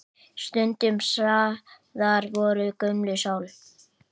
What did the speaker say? Stundum sagður vera gömul sál.